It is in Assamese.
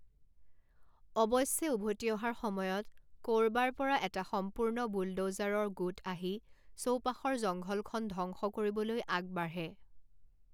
অৱশ্যে উভতি অহাৰ সময়ত ক'ৰবাৰ পৰা এটা সম্পূৰ্ণ বুলড'জাৰৰ গোট আহি চৌপাশৰ জংঘলখন ধ্বংস কৰিবলৈ আগ বাঢ়ে।